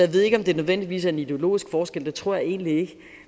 ved ikke om det nødvendigvis er en ideologisk forskel det tror jeg egentlig ikke